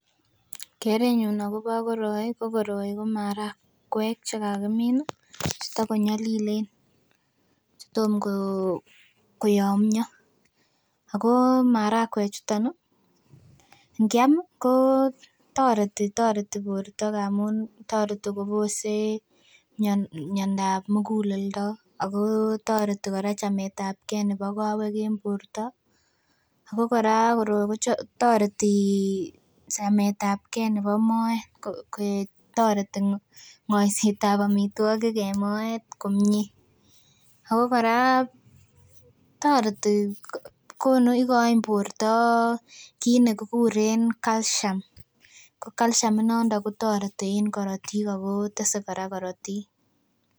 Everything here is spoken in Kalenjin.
Kerenyun akobo koroi ko koroi ko marakwek chekakimin ih chetagonyolilen chetomkoyomyo ako marakwek chuton ih ngiam ih kotoreti toreti borto amun toreti kobose miondab muguleldo ako toreti kora chametabgee nebo kowek en borto. Ako kora koroi kotoreti chametabgee nebo moet koik toreti ng'oisetab amitwogik en moet komie. Ako kora toreti konu ikoin borto kit nekikuren calcium ko calcium inondo kotoreti en korotik ako tese kora korotik